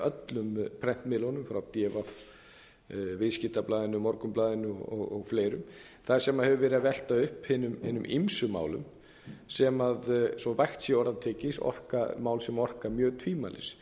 ekki öllum prentmiðlunum frá d v viðskiptablaðinu morgunblaðinu og fleirum þar sem hefur verið að velta upp hinum ýmsu málum sem svo vægt sé til orða tekið máls a orka mjög tvímælis